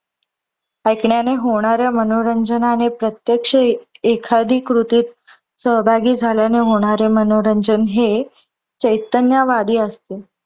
ऐकण्याने होणारे मनोरंजन आणि प्रत्त्यक्ष एखादी कृतीत सहभागी झाल्याने होणारे मनोरंजन हे चैतन्न्यवादी असते.